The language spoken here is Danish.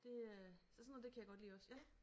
Det øh så sådan noget det kan jeg godt lide også ja